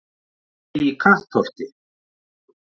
Emil í Kattholti